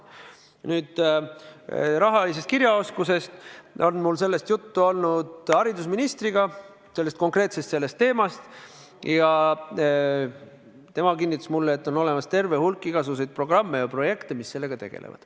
Mis puutub rahalisse kirjaoskusesse, siis mul on sellest konkreetsest teemast juttu olnud haridusministriga ja tema kinnitas mulle, et on olemas terve hulk igasuguseid programme ja projekte, mis sellega tegelevad.